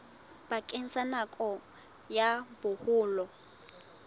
bakeng sa nako ya boholo